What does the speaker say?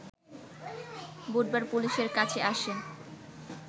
বুধবার পুলিশের কাছে আসেন